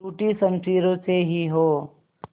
टूटी शमशीरों से ही हो